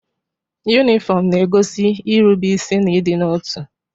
Yunifọmụ na-egosi irube isi na ịdịnotu.